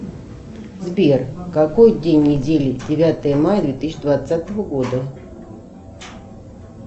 сбер какой день недели девятое мая две тысячи двадцатого года